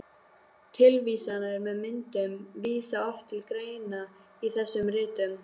Tilvísanir með myndum vísa oft til greina í þessum ritum.